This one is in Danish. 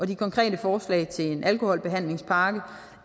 de konkrete forslag til en alkoholbehandlingspakke